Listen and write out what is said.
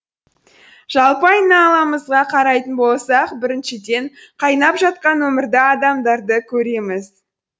жалпы айналамызға қарайтын болсақ біріншіден қайнап жатқан өмірді адамдарды көреміз